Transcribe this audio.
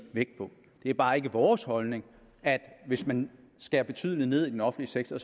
vægt på det er bare ikke vores holdning at hvis man skærer betydeligt ned i den offentlige sektor